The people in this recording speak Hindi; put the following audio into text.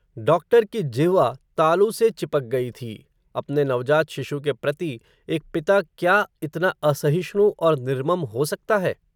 डॉक्टर की जिह्वा, तालू से चिपक गयी थी, अपने नवजात शिशु के प्रति, एक पिता क्या, इतना असहिष्णु, और निर्मम हो सकता है